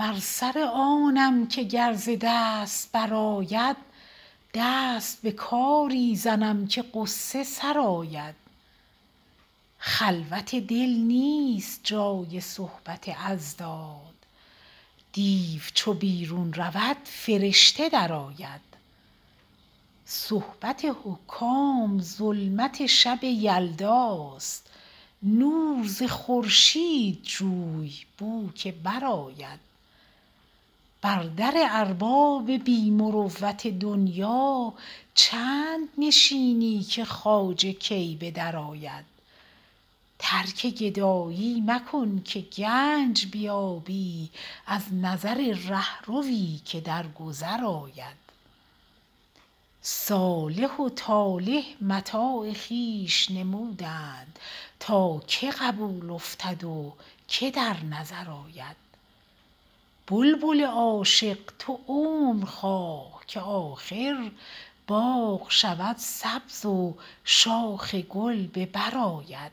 بر سر آنم که گر ز دست برآید دست به کاری زنم که غصه سرآید خلوت دل نیست جای صحبت اضداد دیو چو بیرون رود فرشته درآید صحبت حکام ظلمت شب یلداست نور ز خورشید جوی بو که برآید بر در ارباب بی مروت دنیا چند نشینی که خواجه کی به درآید ترک گدایی مکن که گنج بیابی از نظر رهروی که در گذر آید صالح و طالح متاع خویش نمودند تا که قبول افتد و که در نظر آید بلبل عاشق تو عمر خواه که آخر باغ شود سبز و شاخ گل به بر آید